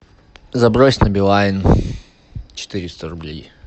забрось на билайн четыреста рублей